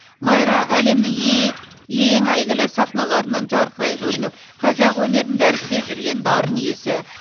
майра әлемнің ее ең әйгілі сахналарынан жарқырай көрініп қазақ өнерін дәріптеп жүрген дарын иесі